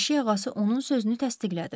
Eşik ağası onun sözünü təsdiqlədi.